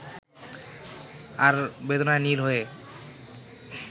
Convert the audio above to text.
আর বেদনায় নীল হয়ে